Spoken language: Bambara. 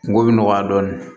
Kungo bɛ nɔgɔya dɔɔnin